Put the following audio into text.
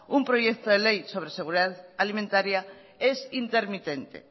un proyecto de ley sobre seguridad alimentaria es intermitente